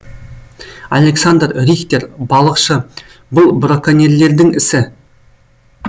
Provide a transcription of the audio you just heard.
александр рихтер балықшы бұл броконьерлердің ісі